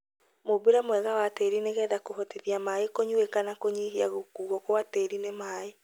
Mũmbĩre mwega wa tĩri nĩgetha kũhotithia maĩ kũnyuĩka na kũnyihia gũkuo gwa tĩri nĩ maĩ.